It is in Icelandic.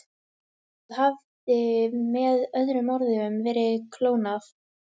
Það hafði með öðrum orðum verið klónað.